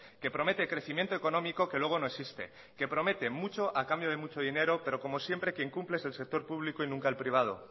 que promete crecimiento económico que luego no existe que promete mucho a cambio de mucho dinero pero como siempre quien cumple es el sector público y nunca el privado